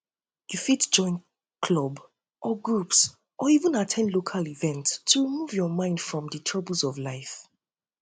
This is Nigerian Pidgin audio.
you fit join club or group or even group or even at ten d local events to remove your um mind from di troubles of life